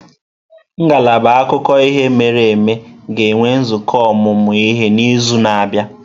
Ngalaba akụkọ ihe mere eme ga-enwe nzukọ ọmụmụ ihe n'izu na-abịa.